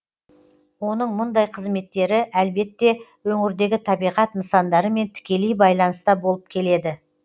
оның мұндай қызметтері әлбетте өңірдегі табиғат нысандарымен тікелей байланыста болып келеді